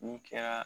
N'i kɛra